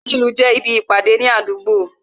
Ààrin ìlú jẹ́ ibi Ìpàdé ní àdúgbò